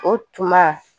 O tuma